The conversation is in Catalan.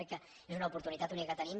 crec que és una oportunitat única que tenim